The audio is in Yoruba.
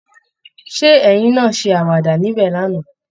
Ṣé ẹ̀yin náa ṣe àwàda níbẹ̀ lánàá?